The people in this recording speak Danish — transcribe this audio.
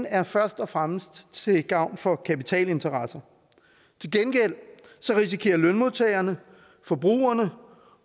er først og fremmest til gavn for kapitalinteresserne til gengæld risikerer lønmodtagerne forbrugerne